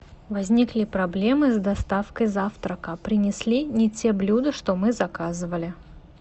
возникли проблемы с доставкой завтрака принесли не те блюда что мы заказывали